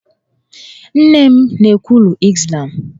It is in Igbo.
Nne m na-ekwulu Izlam